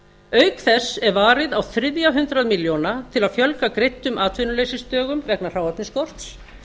auk þess er varið á þriðja hundrað milljóna til að fjölga greiddum atvinnuleysisdögum vegna hráefnisskorts